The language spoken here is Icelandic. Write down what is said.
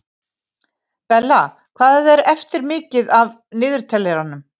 Bella, hvað er mikið eftir af niðurteljaranum?